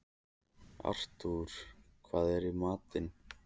Artúr, hvað er í matinn?